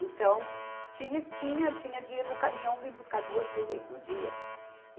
Então, tinha, tinha, tinha dia do caminhão vir buscar duas, três vezes no dia.